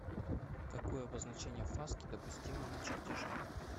какое обозначение фаски допустимо на чертеже